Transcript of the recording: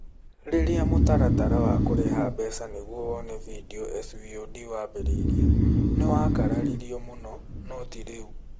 Rĩrĩa mũtaratara wa kũrĩha mbeca nĩ gũo ũone bindiũ(SVOD) wambĩrĩirie, nĩ wakararirue mũno, no tĩ rĩu.